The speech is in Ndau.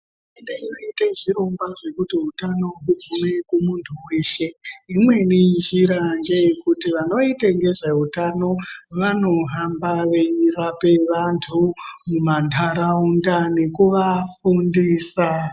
Hurumende iri kuita zvirongwa zvinoite kuti utano hugume kumuntu weshe. Imweni njira ngeyekuti vanoita ngezveutano vanohamba veirapa vantu mumantaraunda nekuvafundisa.